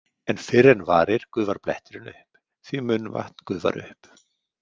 En fyrr en varir gufar bletturinn upp, því munnvatn gufar upp.